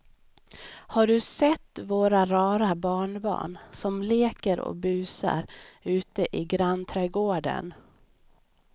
Har du sett våra rara barnbarn som leker och busar ute i grannträdgården!